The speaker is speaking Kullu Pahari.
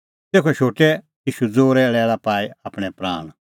तेखअ शोटै ईशू ज़ोरै लैल़ पाई आपणैं प्राण